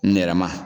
Nɛrɛ ma